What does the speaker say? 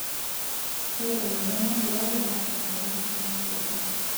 Ore emoyian esukari naa emoyian toronok oleng'.